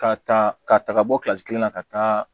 K'a ta k'a ta ka bɔ kelen na ka taa